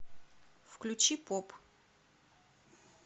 включи поп